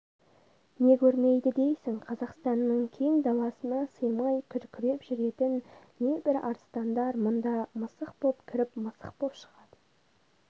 не көрмейді дейсің қазақстанның кең даласына сыймай күркіреп жүретін небір арыстандар мұнда мысық боп кіріп мысық боп шығады